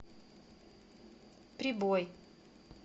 прибой